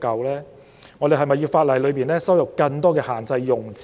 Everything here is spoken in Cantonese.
是否有必要在法例加入更多限制用詞？